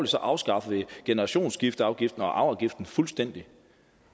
så afskaffede vi generationsskifteafgiften og arveafgiften fuldstændig